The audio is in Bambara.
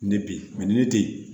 Ne bi ni ne te yen